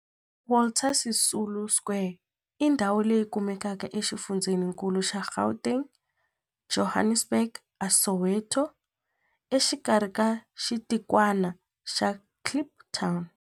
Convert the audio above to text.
Walter Sisulu Square i ndhawu leyi kumekaka exifundzheninkulu xa Gauteng, Johannesburg, a Soweto, exikarhi ka xitikwana xa Kliptown.